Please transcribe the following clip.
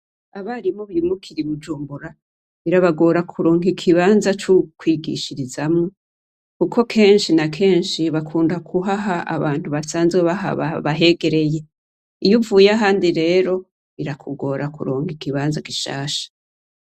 Abarimu birukira i Bujumbura, birabagora kuronka ikibanza co kwigishirizamwo kuko kenshi na kesnshi bakunda kuhaha abantu basanzwe bahaba, bahegereye. Iyo uvuye ahandi rero, birakugora kuronka ikibanza gishasha.